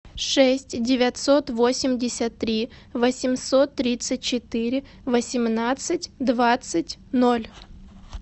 шесть девятьсот восемьдесят три восемьсот тридцать четыре восемнадцать двадцать ноль